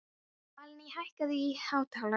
Valný, hækkaðu í hátalaranum.